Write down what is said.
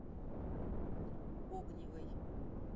огневой